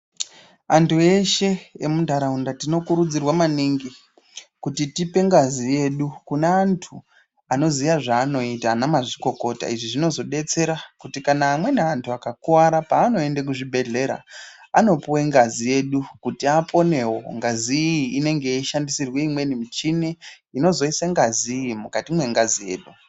Antu eshe emuntaraunda tinokurudzirwa maningi kuti tipengazi yedu kuneantu anoziya zvanoita anamazvikokota. Izvi zvinozobetsera kuti kana amweni antu akakuvara panoende kuzvibhedhlera anopuve ngazi yedu kuti aponevo. Ngazi iyi inenge yeishandisirwe imweni michini inozoise ngazi iyi mukati mwengazi yedu.